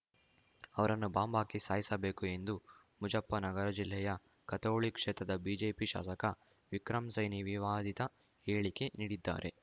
ಅವರನ್ನು ಬಾಂಬ್‌ ಹಾಕಿ ಸಾಯಿಸಬೇಕು ಎಂದು ಮುಜಫ್ಫರ್‌ನಗರ ಜಿಲ್ಲೆಯ ಖತೌಳಿ ಕ್ಷೇತ್ರದ ಬಿಜೆಪಿ ಶಾಸಕ ವಿಕ್ರಮ್‌ ಸೈನಿ ವಿವಾದಿತ ಹೇಳಿಕೆ ನೀಡಿದ್ದಾರೆ